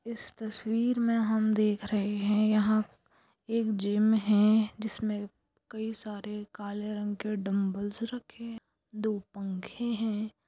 इस तस्वीर में हम देख रहे हैं यहां एक जिम है जिसमें कई सारे काले रंग के डंबल रखे हैं दो पंखे हैं हेलो--